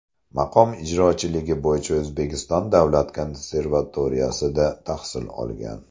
Maqom ijrochiligi bo‘yicha O‘zbekiston davlat konservatoriyasida tahsil olgan.